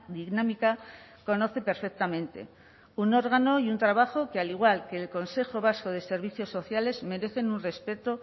dinámica conoce perfectamente un órgano y un trabajo que al igual que el consejo vasco de servicios sociales merecen un respeto